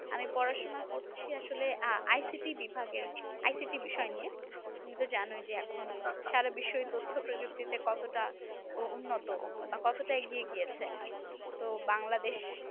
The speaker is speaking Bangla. আমি পড়াশোনা করছি আসলে ICT বিভাগের ICT বিষয় নিয়ে। তুমি তো জানোই এখন সারা বিশ্বই তথ্যপ্রযুক্তিতে কতটা উন্নত বা কতটা এগিয়ে গিয়েছে। তো বাংলাদেশ